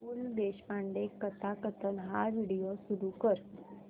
पु ल देशपांडे कथाकथन हा व्हिडिओ सुरू कर